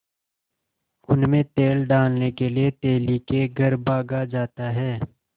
उनमें तेल डालने के लिए तेली के घर भागा जाता है